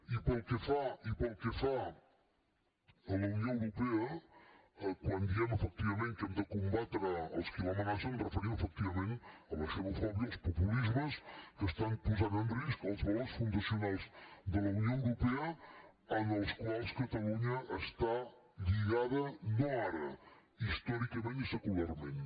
i pel que fa a la unió europea quan diem efectivament que hem de combatre els qui l’amenacen ens referim efectivament a la xenofòbia als populismes que estan posant en risc els valors fundacionals de la unió europea als quals catalunya està lligada no ara històricament i secularment